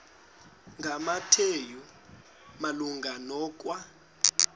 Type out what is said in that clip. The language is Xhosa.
kumateyu malunga nokwa